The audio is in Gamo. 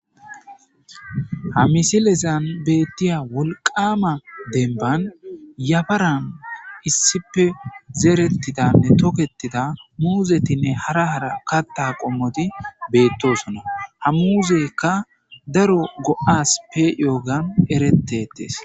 Ha misilezan beettiya wolqama denban yafaran issife zeerettidanne tokettida muuzetinne hara hara katta qommoti beettosona ha muuzekka daro go7asppe yoogan erettetees.